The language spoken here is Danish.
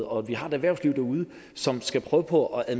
og vi har et erhvervsliv derude som skal prøve på at